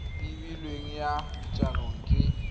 e beilweng ya jaanong ke